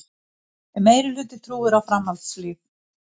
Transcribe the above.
Meirihluti trúir á framhaldslíf